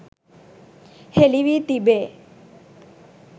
හෙළිවී තිබේ.